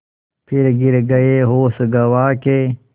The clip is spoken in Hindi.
फिर गिर गये होश गँवा के